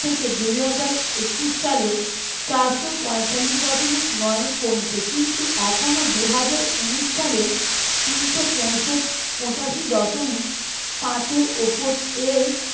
থেকে দুই হাজার একুশ সালে চারশো পঁয়তাল্লিশ দশমিক নয় কমছে কিন্তু এখনো দুই হাজার উনিশ সালে তিনশো পঁয়ষট্টি পঁচাশি দশমিক পাচ এর উপর